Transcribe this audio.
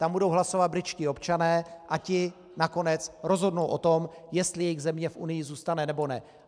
Tam budou hlasovat britští občané a ti nakonec rozhodnou o tom, jestli jejich země v Unii zůstane, nebo ne.